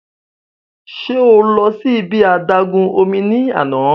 Ṣe o lọ si ibi adagun omi ni ana?